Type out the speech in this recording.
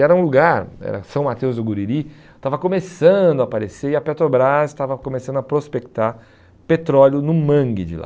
E era um lugar, era São Mateus do Guriri, estava começando a aparecer e a Petrobras estava começando a prospectar petróleo no mangue de lá.